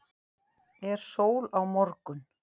er sól á morgun